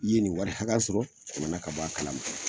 I ye nin wari hakɛya sɔrɔ jamana ka bɔ a kala ma.